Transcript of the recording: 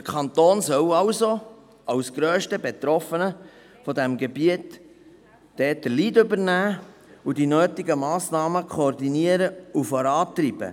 Der Kanton als grösster Betroffener dieses Gebiets soll dort also den Lead übernehmen und die nötigen Massnahmen koordinieren und vorantreiben.